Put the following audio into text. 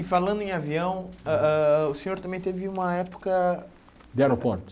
E falando em avião, ah ah o senhor também teve uma época... De aeroportos.